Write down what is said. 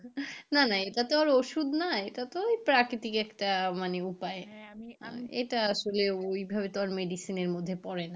না না এটা তো আর ওষুধ নয় এটা তো ওই প্রাকৃতিক একটা মানে উপায় হ্যাঁ হাঁ আমি বুঝতে পেরেসি। এটা আসলে ওইভাবে তো আর medicine মত পড়ে না।